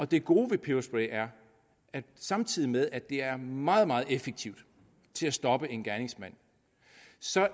det gode ved peberspray er at samtidig med at det er meget meget effektivt til at stoppe en gerningsmand